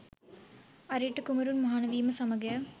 අරිට්ඨ කුමරුන් මහණ වීම සමගය.